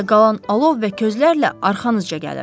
Mən də qalan alov və közlərlə arxanızca gəlirəm.